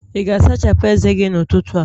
ị ga-asachapụ ezé gị n'ụtụtụ a?